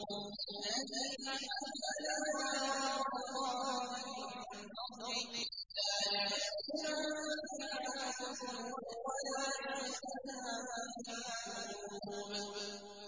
الَّذِي أَحَلَّنَا دَارَ الْمُقَامَةِ مِن فَضْلِهِ لَا يَمَسُّنَا فِيهَا نَصَبٌ وَلَا يَمَسُّنَا فِيهَا لُغُوبٌ